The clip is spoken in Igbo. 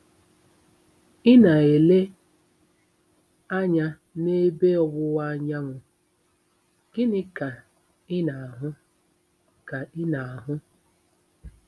Ị na-ele anya n'ebe ọwụwa anyanwụ, gịnị ka ị na-ahụ ka ị na-ahụ?